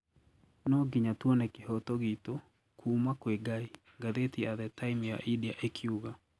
Noo ngiya tuone kihoto gitu kuuma kwi Ngai,"Gatheti ya The Time ya India ekiuga.